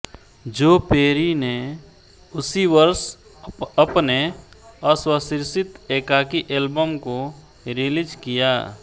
जो पेरी ने उसी वर्ष अपने स्वशिर्षित एकाकी एल्बम को रिलीज़ किया